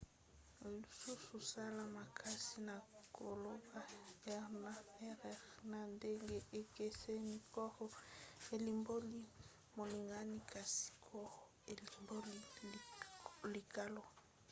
lisusu sala makasi na koloba r na rr na ndenge ekeseni: caro elimboli molingani kasi carro elimboli likalo